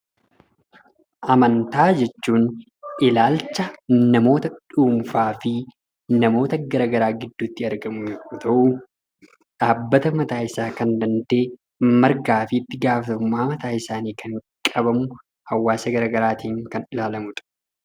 Amantaa jechuun ilaalcha namoota dhuunfaa fi namoota garagaraa gidduutti yoo ta'u, dhaabbata mataa isaa kan danda'e, mirgaa fi ittigaafatamummaa mataa isaanii kan qaban, hawaasa garaagaraatiin kan ilaalamu dha.